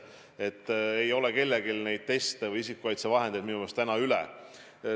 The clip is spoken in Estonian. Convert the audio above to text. Et ei ole kellelgi teste ega isikukaitsevahendeid minu meelest täna üle.